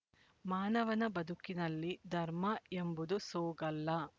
ಮಾನವನ ಬದುಕಿನಲ್ಲಿ ಧರ್ಮ ಎಂಬುದು ಸೋಗಲ್ಲ